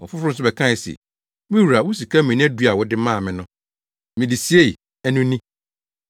“Ɔfoforo nso bɛkae se, ‘Me wura wo sika mina du a wode maa me no, mede siei, ɛno ni.